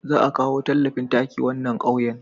Za a akawo talafin taki wannan ƙauyen